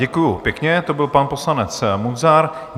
Děkuji pěkně, to byl pan poslanec Munzar.